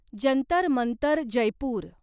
Jantar Mantar Jaipur